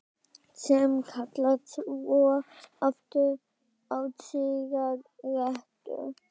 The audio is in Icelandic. Sem kalla svo aftur á sígarettu.